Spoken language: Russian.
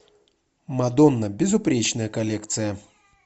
мадонна безупречная коллекция